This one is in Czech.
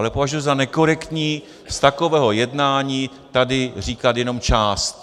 Ale považuji za nekorektní z takového jednání tady říkat jenom část.